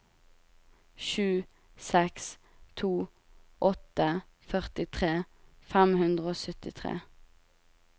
sju seks to åtte førtitre fem hundre og syttitre